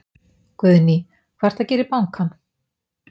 Guðný: Hvað ertu að gera í bankann?